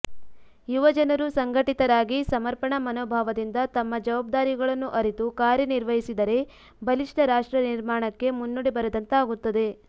ಯುವಜನರು ಸಂಘಟಿತರಾಗಿ ಸಮರ್ಪಣಾ ಮನೋಭಾವದಿಂದ ತಮ್ಮ ಜವಾಬ್ದಾರಿಗಳನ್ನು ಅರಿತು ಕಾರ್ಯನಿರ್ವಹಿಸಿದರೆ ಬಲಿಷ್ಠ ರಾಷ್ಟ್ರ ನಿರ್ಮಾಣಕ್ಕೆ ಮುನ್ನುಡಿ ಬರೆದಂತಾಗುತ್ತದೆ